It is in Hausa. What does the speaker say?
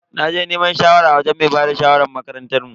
Naje neman shawara a wajen mai bada shawarar makarantar mu.